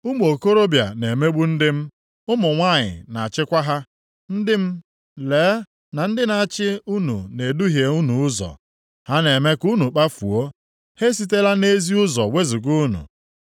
Ụmụ okorobịa na-emegbu ndị m, ụmụ nwanyị na-achịkwa ha. Ndị m, lee na ndị na-achị unu na-eduhie unu ụzọ. Ha na-eme ka unu kpafuo; ha esitela nʼezi ụzọ wezuga unu.